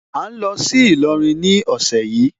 À ń lọ sí Ìlọrin ní ọ̀sẹ̀ yìí.